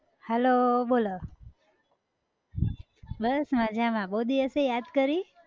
hello બોલો બસ મજામાં બહુ દિવસે યાદ કરી.